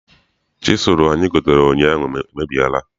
Chisụlụ anyi gotere ụnyaahụ emebiela.